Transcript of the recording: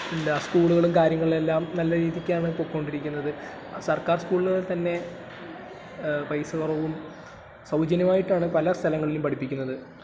ഉണ്ട്, അത് സ്കൂളുകളും കാര്യങ്ങളുമെല്ലാം നല്ലരീതിയ്ക്കാണ് പോയിക്കൊണ്ടിരിക്കുന്നത്, സർക്കാർ സ്കൂളില് തന്നെ പൈസ കുറവും...സൗജന്യമായിട്ടാണ് പലസ്ഥലങ്ങളിലും പഠിപ്പിക്കുന്നത്.